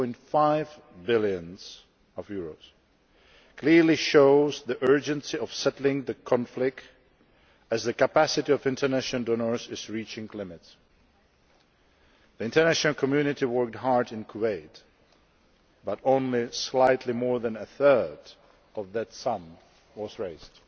6.5 billion clearly shows the urgency of settling the conflict, as the capacity of international donors is reaching its limits. The international community worked hard in Kuwait, but only slightly more than a third of that sum was raised.